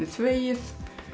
þvegið